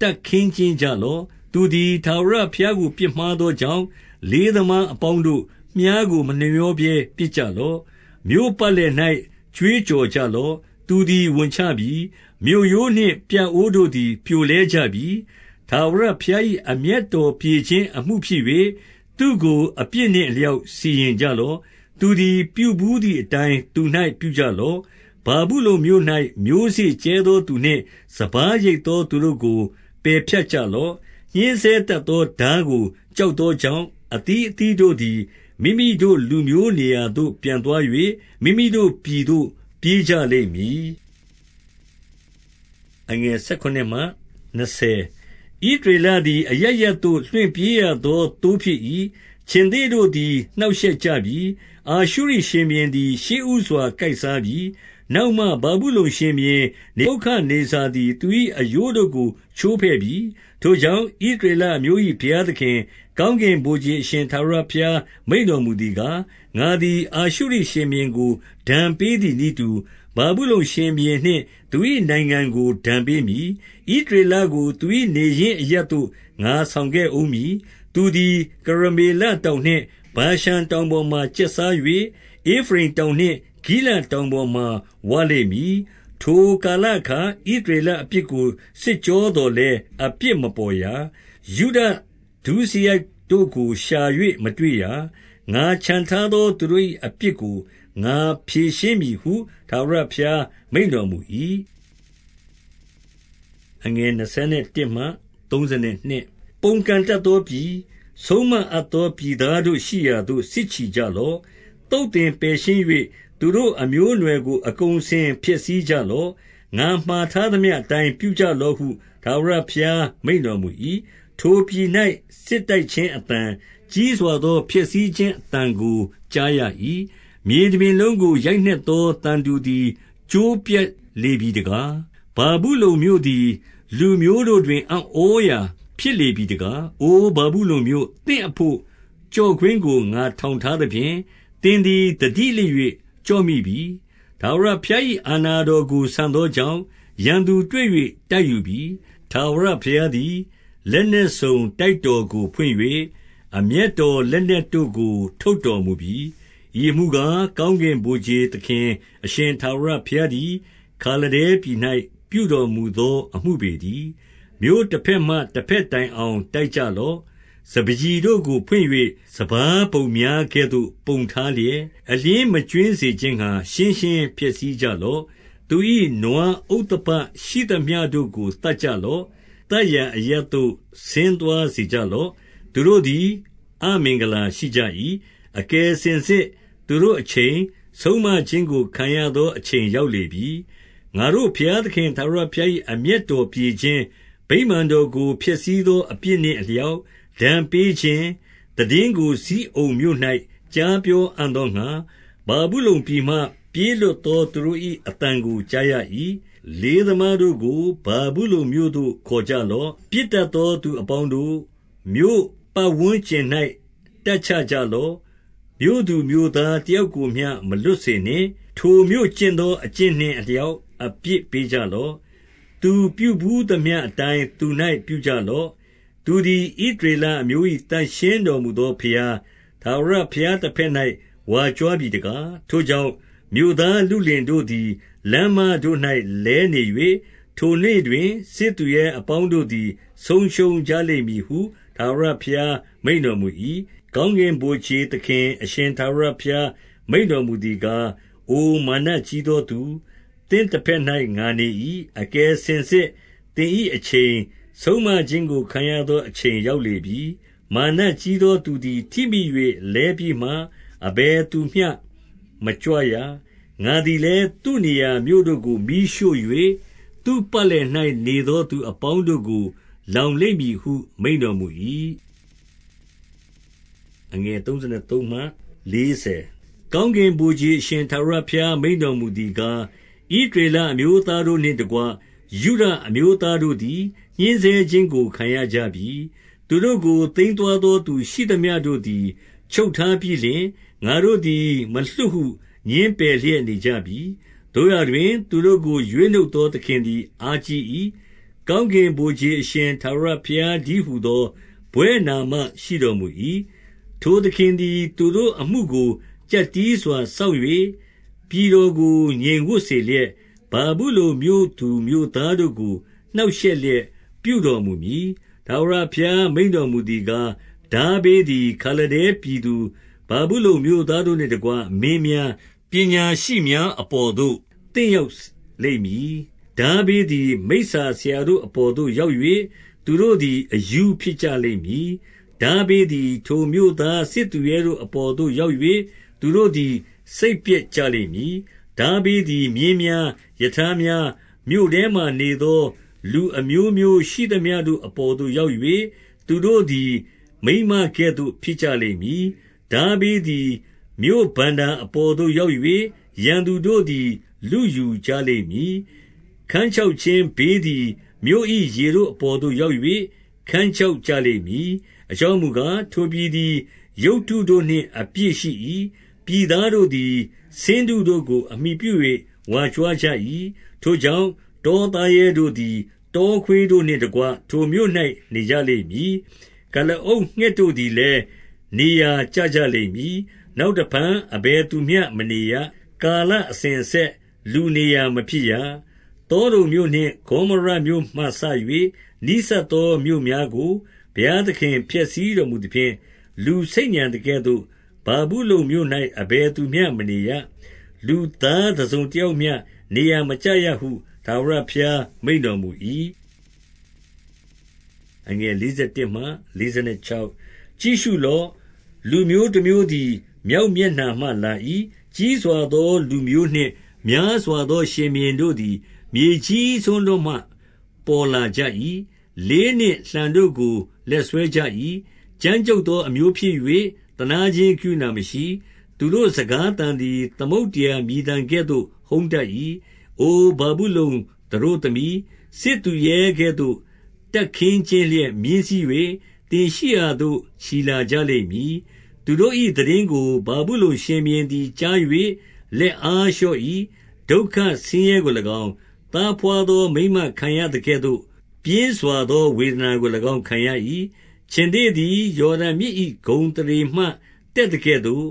တပ်ခင်းကျင်းကြ လော့။ သူသည် ထာဝရဘုရားကို ပြစ်မှားသောကြောင့်၊ လေးသမားအပေါင်းတို့၊ မြှားကိုမနှမြောဘဲ ပစ်ကြလော့။ 15 မြို့ပတ်လည်၌ ကြွေးကြော်ကြလော့။ သူသည် ဝန်ချပြီ။ မြို့ရိုးနှင့် ပြအိုးတို့သည် ပြိုလဲကြပြီ။ ထာဝရ ဘုရား၏အမျက်တော်ပြေခြင်း အမှုဖြစ်၍၊ သူ့ကိုအပြစ် နှင့်အလျောက်စီရင်ကြလော့။ သူသည်ပြုဘူးသည် အတိုင်းသူ၌ ပြုကြလော့။ 16 ဗာဗုလုန်မြို့၌ မျိုးစေ့ကြဲသော သူနှင့်စပါး ရိတ်သော သူတို့ကိုပယ်ဖြတ်ကြလော့။ ညှဉ်းဆဲတတ်သော ထားကိုကြောက်သောကြောင့်၊ အသီးအသီးတို့သည် မိမိတို့လူမျိုးနေရာသို့ ပြန်သွား၍၊ မိမိတို့ပြည်သို့ပြေး ကြလိမ့်မည်။ 17 ဣသရေလသည်အရပ်ရပ်သို့ လွင့်ပြေးရသော သိုးဖြစ်၏။ ခြင်္သေ့တို့သည် နှောင့်ရှက်ကြပြီ။ အာရှုရိ ရှင်ဘုရင်သည် ရှေးဦးစွာ ကိုက်စားပြီ။ နောက်မှ ဗာဗု လုန်ရှင်ဘုရင်နေဗုခဒ်နေဇာသည် သူ၏အရိုးတို့ကို ချိုးဖဲ့ပြီ။ 18 ထိုကြောင့်၊ ဣသရေလအမျိုး၏ဘုရားသခင်၊ ကောင်းကင်ဗိုလ် ခြေအရှင်ထာဝရဘုရား မိန့်တော်မူ သည်ကား၊ ငါသည်အာရှုရိရှင်ဘုရင်ကို ဒဏ်ပေးသည် နည်းတူ၊ ဗာဗုလုန်ရှင်ဘုရင်နှင့် သူ၏နိုင်ငံကို ဒဏ်ပေး မည်။ 19 ဣသရေလကိုသူ၏နေရင်းအရပ်သို့ ငါဆောင် ခဲ့ဦးမည်။ သူသည် ကရမေလတောင်နှင့်ဗာရှန်တောင် ပေါ်မှာ ကျက်စား၍၊ ဧဖရိမ် တောင်နှင့်ဂိလဒ်တောင် ပေါ်မှာ ဝလိမ့်မည်။ 20 ထိုကာလအခါ ဣသရေလအပြစ်ကို စစ်ကြော သော်လည်း အပြစ်မပေါ်ရာ။ ယုဒဒုစရိုက်တို့ကိုရှာ၍ မတွေ့ရာ။ ငါချန်ထားသော သူတို့၏ အပြစ်ကို ငါဖြေရှင်း မည်ဟု ထာဝရဘုရားမိန့်တော်မူ၏။ 21 ပုန်ကန်တတ်သောပြည်၊ ဆုံးမအပ်သော ပြည်သားတို့ရှိရာသို့ စစ်ချီကြလော့။ သုတ်သင်ပယ်ရှင်း၍ သူတို့အမျိုးအနွယ်ကိုအကုန်အစင် ဖျက်ဆီးကြလော့။ ငါမှာထားသမျှအတိုင်း ပြုကြလော့ဟု ထာဝရဘုရား မိန့်တော်မူ၏။ 22 ထိုပြည်၌စစ်တိုက်ခြင်းအသံ၊ ကြီးစွာသော ဖျက်ဆီးခြင်းအသံကို ကြားရ၏။ 23 မြေတပြင်လုံးကို ရိုက်နှက်သောသံတူသည် ကျိုးပြတ်လေပြီတကား၊ ဗာဗုလုန်မြို့သည် လူမျိုးတို့တွင် အံ့ဩရာဖြစ်လေပြီတကား။ 24 အို ဗာဗုလုန်မြို့၊ သင်အဘို့ကျော့ကွင်းကို ငါထောင်ထားသဖြင့်၊ သင်သည် သတိလစ်၍ကျော့မိပြီ။ ထာဝရဘုရား၏ အာဏာတော်ကို ဆန်သောကြောင့်၊ ရန်သူတွေ့၍ တိုက်ယူပြီ။ 25 ထာဝရဘုရားသည် လက်နက်စုံ တိုက်တော်ကို ဖွင့်၍၊ အမျက်တော်လက်နက်တို့ကို ထုတ်တော်မူပြီ။ ဤအမှုကား၊ ကောင်းကင်ဗိုလ်ခြေ သခင်အရှင် ထာဝရ ဘုရားသည် ခါလဒဲပြည်၌ ပြုတော်မူသော အမှုပေတည်း။ 26 မြို့တဘက်မှတဘက်တိုင်အောင် တိုက်ကြ လော့။ စပါးကျီတို့ကို ဖွင့်၍၊ စပါးပုံများကဲ့သို့ ပုံထားလျက်၊ အလျှင်းမကြွင်းစေခြင်းငှါ ရှင်းရှင်းဖျက်ဆီးကြလော့။ 27 သူ၏နွားဥသဘရှိသမျှတို့ကို သတ်ကြလော့။ သတ်ရာအရပ်သို့ ဆင်းသွားစေကြလော့။ သူတို့သည် အမင်္ဂလာရှိကြ၏။ အကယ်စင်စစ် သူတို့အချိန်၊ ဆုံးမခြင်းကို ခံရသော အချိန်ရောက်လေပြီ။ 28 ငါတို့ဘုရားသခင်ထာဝရဘုရား၏ အမျက်တော် ပြေခြင်း၊ ဗိမာန်တော်ကို ဖျက်ဆီးသောအပြစ်နှင့် အလျောက် ဒဏ်ပေးခြင်းသိတင်းကို ဇိအုန်မြို့၌ကြားပြေ အံ့သောငှါ၊ ဗာဗုလုန်ပြည်မှ ပြေးလွတ်သောသူတို့၏ အသံ ကို ကြားရ၏။ 29 လေးသမားတို့ကို ဗာဗုလုန်မြို့သို့ခေါ်ကြလော့။ ပစ်တတ်သော သူအပေါင်းတို့၊ မြို့ပတ်ဝန်းကျင်၌ တပ်ချ ကြလော့။ မြို့သူမြို့သားတယောက်ကိုမျှ မလွတ်စေနှင့်။ ထိုမြို့ကျင့်သော အကျင့်နှင့်အလျောက် အပြစ်ပေးကြ လော့။ သူပြုဘူးသမျှအတိုင်း သူ၌ပြုကြလော့။ သူသည်ဣ သရေလအမျိုး၏သန့်ရှင်းတော်မူသော ဘုရား၊ ထာဝရ ဘုရားတဘက်၌ ဝါကြွားပြီတကား။ 30 ထိုကြောင့်၊ မြို့သားလုလင်တို့သည် လမ်းမတို့၌ လဲနေ၍၊ ထိုနေ့တွင် စစ်သူရဲအပေါင်းတို့သည် ဆုံးရှုံးကြ လိမ့်မည်ဟု၊ ထာဝရဘုရား မိန့်တော်မူ၏။ 31 ကောင်းကင်ဗိုလ်ခြေသခင်အရှင် ထာဝရဘုရား မိန့်တော်မူသည်ကား၊ အိုမာနကြီးသောသူ၊ သင့်တဘက်၌ ငါနေ၏။ အကယ်စင်စစ်သင်၏အချိန်၊ ဆုံးမခြင်းကိုခံရ သော အချိန်ရောက်လေပြီ။ 32 မာနကြီးသောသူသည် ထိမိ၍ လဲပြီးမှ အဘယ် သူမျှမကြွရ။ ငါသည်လည်း သူ့နေရာ မြို့တို့ကို မီးရှို့၍၊ သူ့ပတ်လည်၌နေသောသူအပေါင်းတို့ကို လောင်လိမ့်မည် ဟု မိန့်တော်မူ၏။ 33 ကောင်းကင်ဗိုလ်ခြေအရှင် ထာဝရဘုရား မိန့်တော်မူသည်ကား၊ ဣသရေလအမျိုးသားတို့နှင့် တကွယုဒအမျိုးသားတို့သည် ညှဉ်းဆဲခြင်းကို ခံရကြပြီ။ သူတို့ကိုသိမ်းသွားသော သူရှိသမျှတို့သည် ချုပ်ထားပြီး လျှင်၊ ငါတို့သည် မလွှတ်ဟု ငြင်းပယ်လျက်နေကြပြီ။ 34 သို့ရာတွင်၊ သူတို့ကိုရွေးနှုတ်သော သခင်သည် အားကြီး၏။ ကောင်းကင်ဗိုလ်ခြေ အရှင်ထာဝရဘုရား တည်းဟူသော ဘွဲ့နာမရှိတော်မူ၏။ ထိုသခင်သည်သူတို့ အမှုကို ကျပ်တည်းစွာစောင့်၍၊ ပြည်တော်ကို ငြိမ်ဝပ် စေလျက်၊ ဗာဗုလုန်မြို့သူမြို့သားတို့ကို နှောင့်ရှက်လျက် ပြုတော်မူမည်။ 35 ထာဝရဘုရားမိန့်တော်မူသည်ကား၊ ထားဘေး သည် ခါလဒဲပြည်သူ၊ ဗာဗုလုန်မြို့သားတို့နှင့်တကွ မင်းများ၊ ပညာရှိများအပေါ်သို့ သင့်ရောက်လိမ့်မည်။ 36 ထားဘေးသည် မိစ္ဆာဆရာတို့အပေါ်သို့ ရောက် ၍၊ သူတို့သည် အရူးဖြစ်ကြလိမ့်မည်။ ထားဘေးသည် ထိုမြို့သားစစ်သူရဲတို့အပေါ်သို့ ရောက်၍၊ သူတို့သည် စိတ်ပျက်ကြလိမ့်မည်။ 37 ထားဘေးသည်မြင်းများ၊ ရထားများ၊ မြို့ထဲမှာ နေသောလူအမျိုးမျိုးရှိသမျှတို့အပေါ်သို့ ရောက်၍၊ သူတို့သည် မိန်းမကဲ့သို့ ဖြစ်ကြလိမ့်မည်။ ထားဘေးသည် မြို့ဘဏ္ဍာအပေါ်သို့ရောက်၍၊ ရန်သူတို့သည်လုယူ ကြလိမ့်မည်။ 38 ခန်းခြောက်ခြင်းဘေးသည် မြို့၏ ရေတို့ အပေါ်သို့ရောက်၍ ခန်းခြောက်ကြလိမ့်မည်။ အကြောင်း မူကား၊ ထိုပြည်သည်ရုပ်တုတို့နှင့် အပြည့်ရှိ၏။ ပြည်သား တို့သည် ဆင်းတုတို့ကို အမှီပြု၍ ဝါကြွားကြ၏။ 39 ထိုကြောင့်၊ တောသားရဲတို့သည် တောခွေးတို့ နှင့်တကွ ထိုမြို့၌ နေကြလိမ့်မည်။ ကုလားအုပ်ငှက်တို့ သည်လည်း နေရာကျကြလိမ့်မည်။ နောက်တဖန် အဘယ် သူမျှမနေရ။ ကာလအစဉ်အဆက် လူနေရာမဖြစ်ရ။ 40 သောဒုံမြို့နှင့်ဂေါမောရမြို့မှစ၍ နီးဆပ်သော မြို့များကို ဘုရားသခင်ဖျက်ဆီးတော်မူသဖြင့် လူဆိတ်ညံ သကဲ့သို့၊ ဗာဗုလုန်မြို့၌ အဘယ်သူမျှမနေရ၊ လူသားတစုံ တယောက်မျှနေရာမကျရဟု၊ ထာဝရဘုရားမိန့်တော် မူ၏။ 41 ကြည့်ရှုလော့။ လူမျိုးတမျိုးသည် မြောက်မျက်နှာမှ လာ၏။ ကြီးစွာသော လူမျိုးနှင့်များစွာသော ရှင်ဘုရင်တို့ သည် မြေကြီးစွန်းတို့မှ ပေါ်လာကြ၏။ 42 လေးနှင့်လှံတို့ကို လက်စွဲကြ၏။ ကြမ်းကြုတ် သော အမျိုးဖြစ်၍ သနားခြင်းကရုဏာမရှိ။ သူတို့စကား သံသည် သမုဒ္ဒရာမြည်သံကဲ့သို့ ဟုန်းတတ်၏။ အိုဗာဗု လုန်သတို့သမီး၊ စစ်သူရဲကဲ့သို့ တပ်ခင်းကျင်းလျက်မြင်း စီး၍၊သင်ရှိရာသို့ ချီလာကြလိမ့်မည်။ 43 သူတို့၏သိတင်းကို ဗာဗုလုန်ရှင်ဘုရင်သည် ကြား၍လက်အားလျော့၏။ ဒုက္ခဆင်းရဲကို၎င်း၊ သားဘွား သောမိန်းမခံရသကဲ့သို့ ပြင်းစွာသော ဝေဒနာကို၎င်း ခံရ၏။ 44 ခြင်္သေ့သည် ယော်ဒန်မြစ်၏ ဂုဏ်အသရေမှ တတ်သကဲ့သို့၊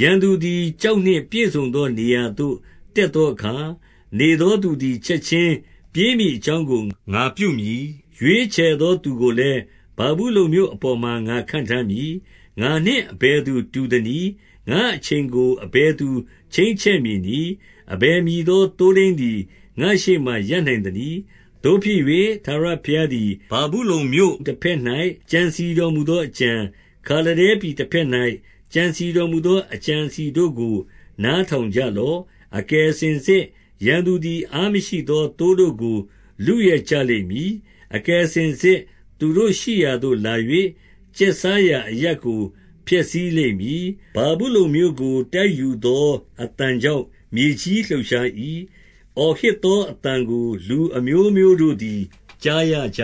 ရန်သူသည် ကျောက်နှင့်ပြည့်စုံသော နေရာသို့တက်သောအခါ၊ နေသော သူသည် ချက်ခြင်း ပြေးမည်အကြောင်းကို ငါပြုမည်။ ရွေးချယ်သော သူကို လည်းဗာဗုလုန်မြို့အပေါ်မှာ ငါခန့်ထားမည်။ငါနှင့် အဘယ်သူတူသနည်း။ ငါ့အချိန်ကို အဘယ်သူချိန်းချက် မည်နည်း။ အဘယ်မည်သော သိုးထိန်းသည် ငါ့ရှေ့မှာ ရပ်နိုင်သနည်း။ 45 သို့ဖြစ်၍၊ ထာဝရဘုရားသည် ဗာဗုလုန်မြို့ တဘက်၌ ကြံစည်တော်မူသောအကြံ၊ ခါလဒဲပြည်တဘက် ၌ ကြံစည်တော်မူသောအကြံ အစည်တို့ကို နားထောင်ကြ လော့။ အကယ်စင်စစ်ရန်သူသည် အားမရှိသော ထိုသိုး တို့ကို လုယက်လိမ့်မည်။ အကယ်စင်စစ်သူတို့ရှိရာသို့ လာ၍၊ ကျက်စားရာအရပ်ကို ဖျက်ဆီးလိမ့်မည်။ 46 ဗာဗုလုန်မြို့ကိုတိုက်ယူသော အသံကြောင့် မြေကြီးလှုပ်ရှား၏။ အော်ဟစ်သောအသံကို လူအမျိုးမျိုး တို့သည် ကြားရကြ